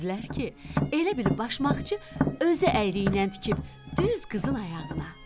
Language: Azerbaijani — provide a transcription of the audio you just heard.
Gördülər ki, elə bil başmaqçı özü əyriylə tikib düz qızın ayağına.